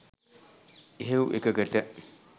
එහෙව් එකකට